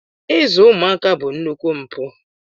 Izu ụmụaka bụ nnukwu mpụ.